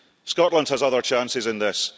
Scotland has other chances in this.